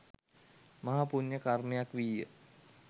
මහා පුණ්‍ය කර්මයක් වී ය.